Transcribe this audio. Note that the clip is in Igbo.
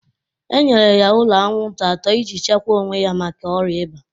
E nyere ya ụlọ anwụnta atọ ị ji chekwa onwe ya maka ọrịa ịba.